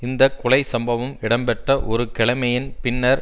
இந்த கொலை சம்பவம் இடம்பெற்ற ஒரு கிழைமையின் பின்னர்